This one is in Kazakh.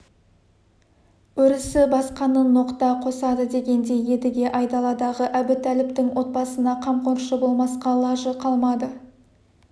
өрісі басқаны ноқта қосады дегендей едіге айдаладағы әбутәліптің отбасына қамқоршы болмасқа лажы қалмады